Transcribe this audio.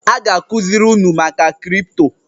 A ga-akụziri unu maka kripto